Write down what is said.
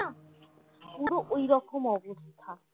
পুরো ওইরকম অবস্থা